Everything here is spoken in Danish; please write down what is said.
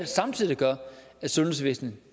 samtidig gør at sundhedsvæsenet